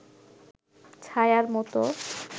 ছায়ার মতো